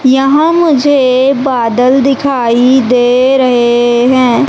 यहां मुझे बादल दिखाई दे रहे हैं।